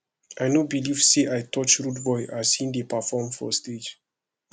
i no believe say i touch rudeboy as he dey perform for stage